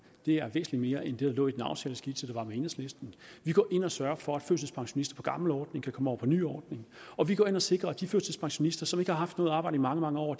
det er væsentlig mere end det der lå i den aftaleskitse der var med enhedslisten vi går ind og sørger for at førtidspensionister på gammel ordning kan komme over på ny ordning og vi går ind og sikrer at de førtidspensionister som ikke har haft noget arbejde i mange mange år